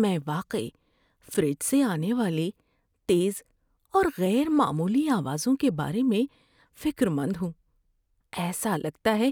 میں واقعی فریج سے آنے والی تیز اور غیر معمولی آوازوں کے بارے میں فکر مند ہوں، ایسا لگتا ہے